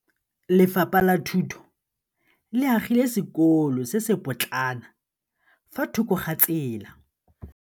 Lefapha la Thuto le agile sekôlô se se pôtlana fa thoko ga tsela.